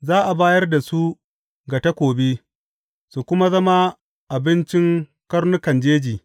Za a bayar da su ga takobi su kuma zama abincin karnukan jeji.